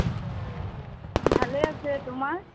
ভালেই আছে। তোমাৰ?